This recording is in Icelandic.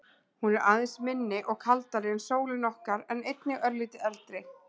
Hún er aðeins minni og kaldari en sólin okkar en einnig örlítið eldri.